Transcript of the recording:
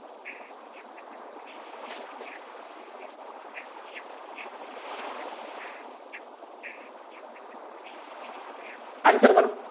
આંતરગત